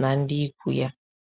na ndị ịkwụ ya